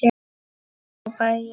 hrópaði ég.